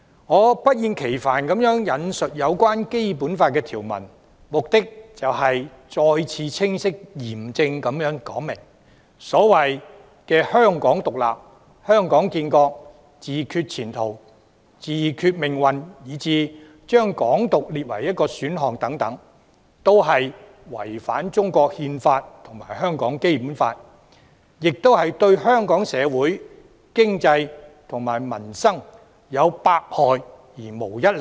我不厭其煩地引述《基本法》有關條文，目的是再次清晰嚴正地說明，所謂"香港獨立"、"香港建國"、"自決前途"、"自決命運"以至將"港獨"列為一個選項等，都是違反中國《憲法》和香港《基本法》，亦是對香港社會、經濟和民生有百害而無一利。